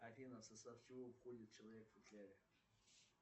афина в состав чего входит человек в футляре